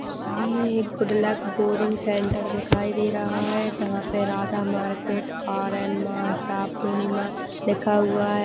सामने एक good luck boring centre दिखाई दे रहा है जहाँ पे राधा मार्केट आर_एन मासा पूर्णिमा लिखा हुआ है।